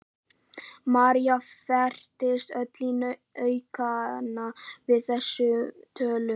María færist öll í aukana við þessa tölu.